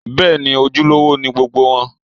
Bẹ́ẹ̀ni, ojúlówó ni gbogbo wọn